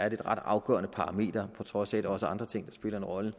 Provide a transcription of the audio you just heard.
et ret afgørende parameter på trods af at også andre ting spiller en rolle